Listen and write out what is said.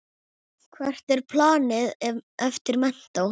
Hvert er planið eftir menntó?